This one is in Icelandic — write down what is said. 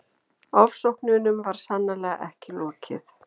Ofsóknunum var sannarlega ekki lokið.